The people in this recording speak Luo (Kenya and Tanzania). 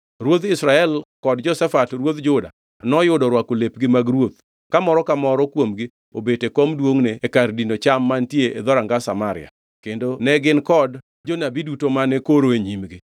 Ruodh Israel kod Jehoshafat ruodh Juda noyudo orwako lepgi mag ruoth ka moro ka moro kuomgi obet e kom duongʼne e kar dino cham mantie e dhoranga Samaria, kendo ne gin kod jonabi duto mane koro e nyimgi.